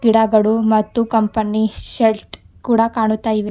ಗಿಡಗಳು ಮತ್ತು company shed ಕೂಡ ಕಾಣ್ತಾಯಿವೆ.